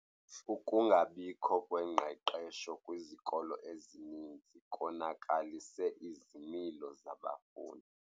Ukungabikho kwengqeqesho kwizikolo ezininzi konakalise izimilo zabafundi.